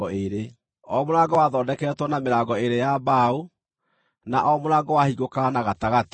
O mũrango wathondeketwo na mĩrango ĩĩrĩ ya wa mbaũ, na o mũrango wahingũkaga na gatagatĩ.